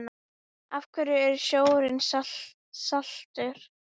Af hverju er sjórinn saltur?